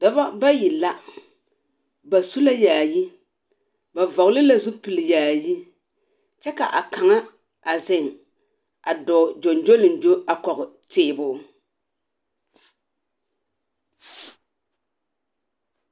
Dͻbͻ bayi la, bas u la yaayi, ba vͻgele la zupili yaayi kyԑ ka a kaŋa a zeŋe a dͻͻ gyoŋgyoliŋgyo a kͻge tēēbo.